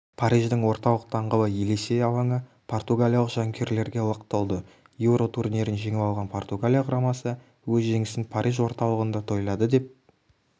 париждің орталық даңғылы елисей алаңы португалиялық жанкүйерлерге лық толды еуро турнирін жеңіп алған португалия құрамасы өз жеңісін париж орталығында тойлады деп